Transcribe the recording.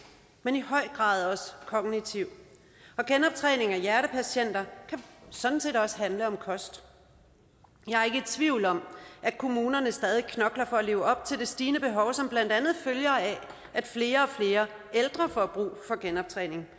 men er i høj grad også kognitiv og genoptræning af hjertepatienter kan sådan set også handle om kost jeg er ikke i tvivl om at kommunerne stadig væk knokler for at leve op til det stigende behov som blandt andet følger af at flere og flere ældre får brug for genoptræning